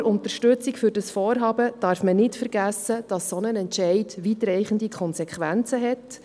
Bei aller Unterstützung für dieses Vorhaben darf man nicht vergessen, dass ein solcher Entscheid weitreichende Konsequenzen hat.